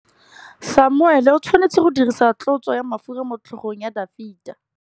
Samuele o tshwanetse go dirisa tlotsô ya mafura motlhôgong ya Dafita.